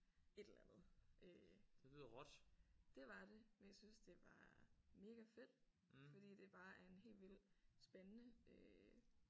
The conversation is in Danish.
Et eller andet øh. Det var det men jeg synes det var megafedt fordi det bare er en helt vild spændende øh